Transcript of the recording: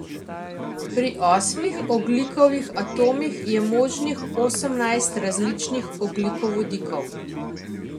Pri osmih ogljikovih atomih je možnih osemnajst različnih ogljikovodikov.